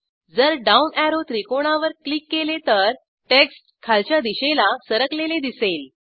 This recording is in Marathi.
जर डाऊन अॅरो त्रिकोणावर क्लिक केले तर टेक्स्ट खालच्या दिशेला सरकलेले दिसेल